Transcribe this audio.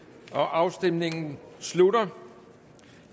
afstemningen slutter